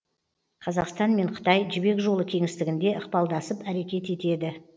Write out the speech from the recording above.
қазақстан мен қытай жібек жолы кеңістігінде ықпалдасып әрекет етеді